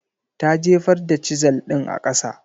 Ta jefar da Chisel ɗin a kasa.